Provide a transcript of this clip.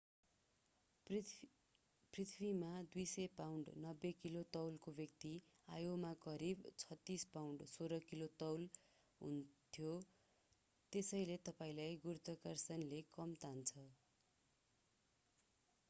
पृथ्वीमा 200 pound 90 kilo तौलको व्यक्ति आइओमा करिब 36 पाउण्ड 16 किलो तौल हुन्थ्यो। त्यसैले तपाईंलाई गुरुत्वाकर्षणले कम तान्छ।